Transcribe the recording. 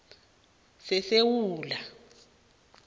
sesewula